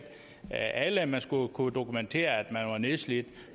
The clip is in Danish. alle altså at man skulle kunne dokumentere at man var nedslidt og